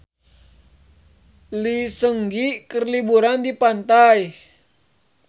Lee Seung Gi keur liburan di pantai